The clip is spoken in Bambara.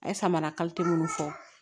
A ye samara kalite minnu fɔ